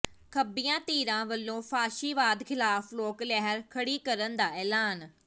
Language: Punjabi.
ਖੱਬੀਆਂ ਧਿਰਾਂ ਵੱਲੋਂ ਫਾਸ਼ੀਵਾਦ ਖਿਲਾਫ ਲੋਕ ਲਹਿਰ ਖੜੀ ਕਰਨ ਦਾ ਐਲਾਨ